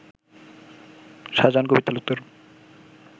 Shahjahan Kabir Talukdar